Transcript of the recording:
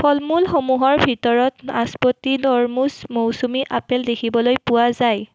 ফলমূলসমূহৰ ভিতৰত নাচপতি তৰমুচ মৌচুমী আপেল দেখিবলৈ পোৱা যায়।